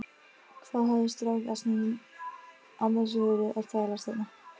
Hvað hafði strákasninn annars verið að þvælast þarna?